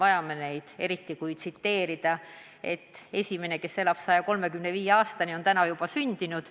Tsiteerin veel kord, et esimene inimene, kes elab 135-aastaseks, on juba sündinud.